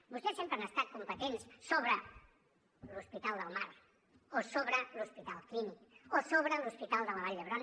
vostès sempre han estat competents sobre l’hospital del mar o sobre l’hospital clínic o sobre l’hospital de la vall d’hebron